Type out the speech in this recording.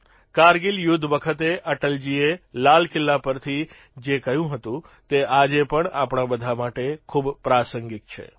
કારગીલ યુદ્ધ વખતે અટલજીએ લાલકિલ્લા પરથી જે કહ્યું હતું તે આજે પણ આપણા બધા માટે ખૂબ પ્રાસંગિક છે